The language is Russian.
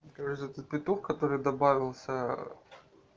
кажется петух который добавился